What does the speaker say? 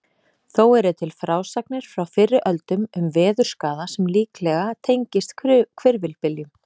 Þó eru til frásagnir frá fyrri öldum um veðurskaða sem líklega tengist hvirfilbyljum.